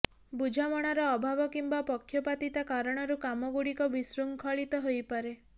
ବୁଝାମଣାର ଅଭାବ କିମ୍ବା ପକ୍ଷପାତିତା କାରଣରୁ କାମଗୁଡ଼ିକ ବିଶୃଙ୍ଖଳିତ ହୋଇପାରେ